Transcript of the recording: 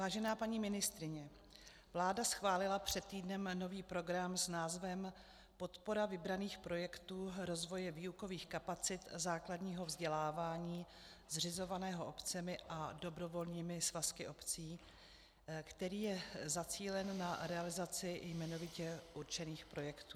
Vážená paní ministryně, vláda schválila před týdnem nový program s názvem Podpora vybraných projektů rozvoje výukových kapacit základního vzdělávání zřizovaného obcemi a dobrovolnými svazky obcí, který je zacílen na realizaci jmenovitě určených projektů.